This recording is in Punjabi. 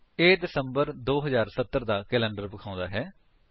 ਇਹ ਦਿਸੰਬਰ 2070 ਦਾ ਕੈਲੰਡਰ ਦਿਖਾਉਂਦਾ ਹੈ